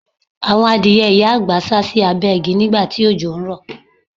Àwọn adìẹ ìyá àgbà sá sì abẹ́ igi nígbà tí òjò ń rò.